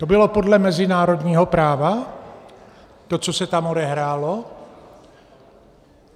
To bylo podle mezinárodního práva, to, co se tam odehrálo?